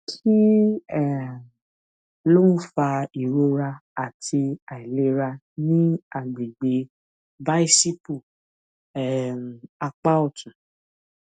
kí um ló ń fa ìrora àti àìlera ní àgbègbè bícípù um apá òtún